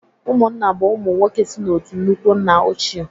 Ụmụnna bụ ụmụ nwoke si n'otu nnukwu nna ochie